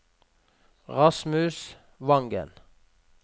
Rasmus Wangen